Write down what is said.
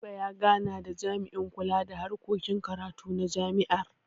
Garba ya gana da jami'in kula da harkokin karatu na jami'ar.